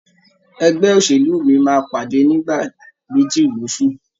Ẹgbẹ́ òṣèlú mí máa pàdé nìgbà méjì loṣù